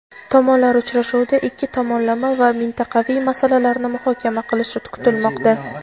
Tomonlar uchrashuvda ikki tomonlama va mintaqaviy masalalarni muhokama qilishi kutilmoqda.